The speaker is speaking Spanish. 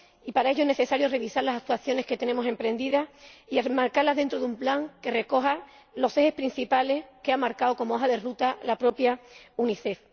Para ello es necesario revisar las actuaciones que tenemos emprendidas y enmarcarlas dentro de un plan que recoja los ejes principales que ha marcado como hoja de ruta la propia Unicef.